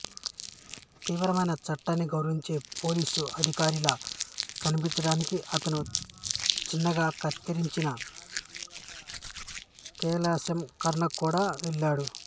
తీవ్రమైన చట్టాన్ని గౌరవించే పోలీసు అధికారిలా కనిపించడానికి అతను చిన్నగా కత్తిరించిన కేశాలంకరణకు కూడా వెళ్ళాడు